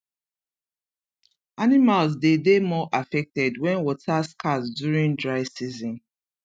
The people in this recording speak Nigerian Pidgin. animals dey dey more affected wen water scarce during dry season